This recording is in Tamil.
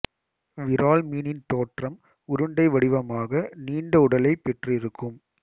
விரால் மீனின் தோற்றம் உருண்டை வடிவமாக நீண்ட உடலைப் பெற்றிருக்கும்